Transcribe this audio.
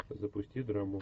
запусти драму